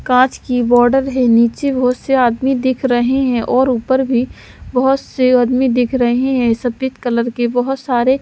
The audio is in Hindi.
कांच की बॉर्डर है नीचे बहुत से आदमी दिख रहे हैं और ऊपर भी बहुत से आदमी दिख रहे हैं सफेद कलर के बहुत सारे--